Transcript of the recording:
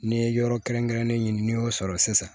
N'i ye yɔrɔ kɛrɛnkɛrɛnnen ɲini n'i y'o sɔrɔ sisan